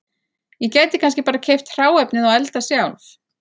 Ég gæti kannski bara keypt hráefnið og eldað sjálf